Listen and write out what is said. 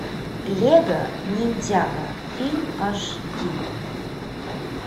лего ниндзяго фильм аш ди